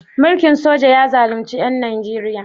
Mulkin soja ya zalunci ƴan Nijeriya?